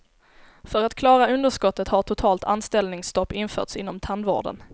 För att klara underskottet har totalt anställningsstopp införts inom tandvården.